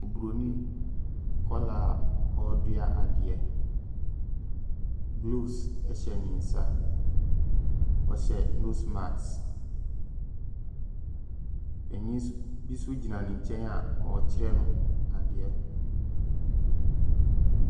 Oburoni akwaraa a oredua adeɛ. Gloves hyɛ ne nsa. Ɔhyɛ nose marsk. Panin s bi so gyina ne nkyɛn a ɔrekyerɛ no adeɛ.